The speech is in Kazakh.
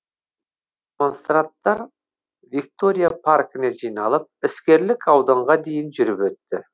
демонстранттар виктория паркіне жиналып іскерлік ауданға дейін жүріп өтті